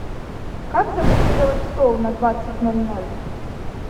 как забронировать стол на двадцать ноль ноль